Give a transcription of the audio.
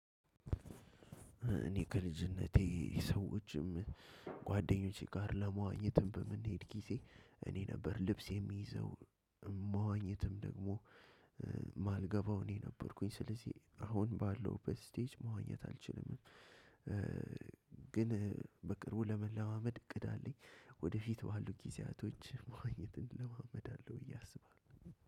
እኔ ከልጅነቴ ሰዎችም ጓደኞቼ ጋር ለመዋኘትም በምንሄድ ጊዜ እኔ ነበር ልብስ የሚይዘው። መዋኘትም ደግሞ ማልገባው እኔ ነበርኩኝ። ስለዚህ አሁን ባለውበት ስቴጅ መዋኘት አልችልም። ግን በቅርቡ ለመለማመድ እቅድ አለኝ። ወደፊት ባሉ ጊዜያቶች መዋኘትን እለማመዳለሁ ብዬ አስባለሁ።